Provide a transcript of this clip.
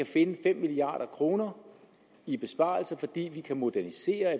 finde fem milliard kroner i besparelser fordi vi kan modernisere og